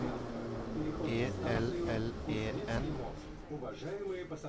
E L L E N